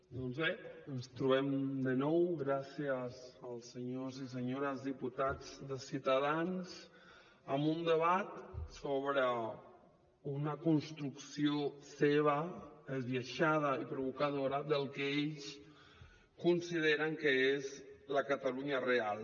doncs bé ens trobem de nou gràcies als senyors i senyores diputats de ciutadans amb un debat sobre una construcció seva esbiaixada i provocadora del que ells consideren que és la catalunya real